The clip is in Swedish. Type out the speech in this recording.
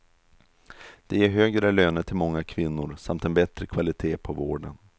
Det ger högre löner till många kvinnor samt en bättre kvalitet på vården.